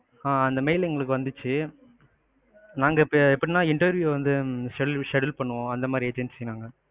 ஆ அந்த mail எங்களுக்கு வந்துச்சு. நாங்க இப்போ எப்டினா interview வந்து schedule, schedule பண்ணுவோம் அந்தமாதிரி agency நாங்க.